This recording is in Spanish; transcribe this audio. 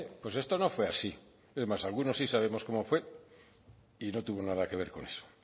pues esto no fue así es más algunos sí sabemos cómo fue y no tuvo nada que ver con eso